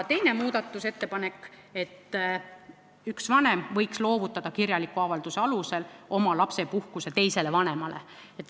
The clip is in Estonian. Teine muudatusettepanek pakkus, et üks vanem võiks loovutada kirjaliku avalduse alusel oma lapsepuhkuse teisele vanemale.